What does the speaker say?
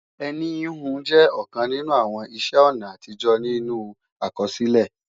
Ẹní híhun jẹ́ ọ̀kan nínú àwọn iṣẹ́-ọ̀nà àtijọ́ nínú àkọsílẹ̀